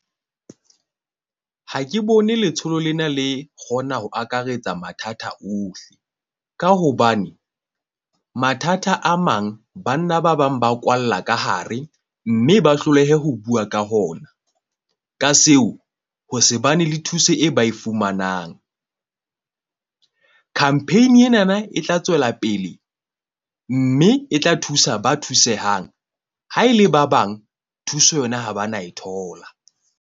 Ha ke bone letsholo lena le kgona ho akaretsa mathata ohle, ka hobane mathata a mang, banna ba bang ba kwalla ka hare. Mme ba hlolehe ho bua ka ho ona ka seo ha se bane le thuso e ba e fumanang. Campaign-i ena na e tla tswela pele, mme e tla thusa ba thusehang ha e le ba bang. Thuso yona ha ba na e thola.